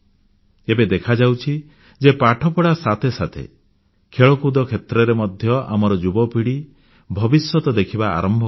ଏବେ ଦେଖାଯାଉଛି ଯେ ପାଠପଢ଼ା ସାଥେ ସାଥେ ଖେଳକୁଦ କ୍ଷେତ୍ରରେ ମଧ୍ୟ ଆମର ଯୁବପିଢ଼ି ଭବିଷ୍ୟତ ଦେଖିବା ଆରମ୍ଭ କଲାଣି